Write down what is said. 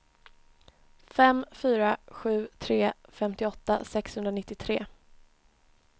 fem fyra sju tre femtioåtta sexhundranittiotre